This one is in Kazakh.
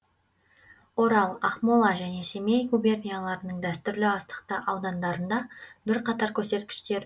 орал ақмола және семей губернияларының дәстүрлі астықты аудандарында бірқатар көрсеткіштер